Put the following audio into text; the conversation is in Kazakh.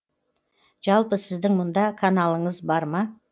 жалпы сіздің мұнда каналыңыз бар ма